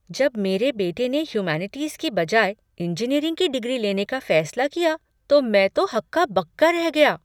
जब मेरे बेटे ने ह्यूमैनिटीज़ के बजाय इंजीनियरिंग की डिग्री लेने का फैसला किया तो मैं तो हक्का बक्का रह गया।